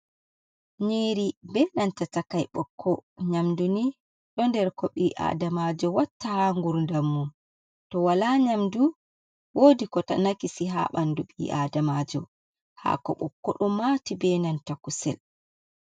Nyiri be nanta takai bokko, nyamdu ni ɗo nder ko ɓi adamajo watta ha ngurdammum, to wala nyamdu wodi ko nakisi ha bandu ɓi-adamajo, ha ko ɓokko ɗu mati be nanta kusel